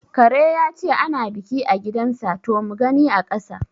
Kare yace ana ɓiƙi gidan sa to mugani aƙasa